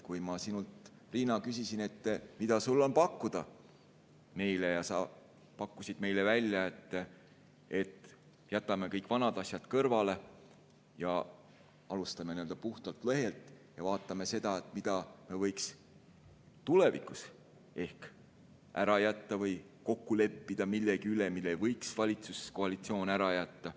Kui ma sinult, Riina, küsisin, mida sul on pakkuda meile, siis sa pakkusid meile välja, et jätame kõik vanad asjad kõrvale ja alustame nii-öelda puhtalt lehelt ja vaatame seda, mida me võiks tulevikus ehk ära jätta, või lepime kokku, mille võiks valitsuskoalitsioon ära jätta.